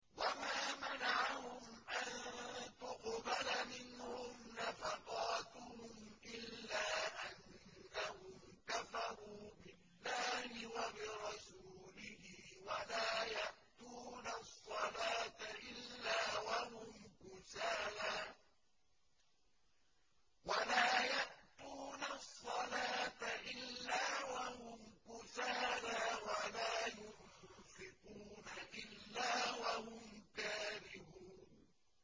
وَمَا مَنَعَهُمْ أَن تُقْبَلَ مِنْهُمْ نَفَقَاتُهُمْ إِلَّا أَنَّهُمْ كَفَرُوا بِاللَّهِ وَبِرَسُولِهِ وَلَا يَأْتُونَ الصَّلَاةَ إِلَّا وَهُمْ كُسَالَىٰ وَلَا يُنفِقُونَ إِلَّا وَهُمْ كَارِهُونَ